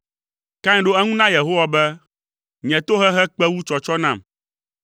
Kain ɖo eŋu na Yehowa be, “Nye tohehe kpe wu tsɔtsɔ nam,